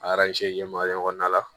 A kɔnɔna la